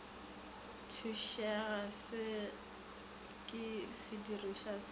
thušega se ke sedirišwa sa